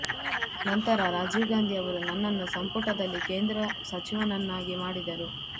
ನಂತರ ರಾಜೀವ್ ಗಾಂಧಿ ಅವರು ನನ್ನನ್ನು ಸಂಪುಟದಲ್ಲಿ ಕೇಂದ್ರ ಸಚಿವನನ್ನಾಗಿ ಮಾಡಿದರು